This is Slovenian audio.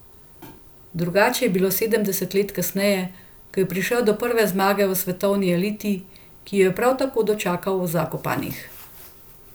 Drugače je bilo sedem let kasneje, ko je prišel do prve zmage v svetovni eliti, ki jo je prav tako dočakal v Zakopanah.